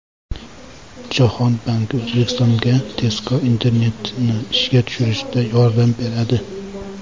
Jahon banki O‘zbekistonga tezkor internetni ishga tushirishda yordam beradi.